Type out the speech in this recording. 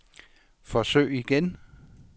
forsøg igen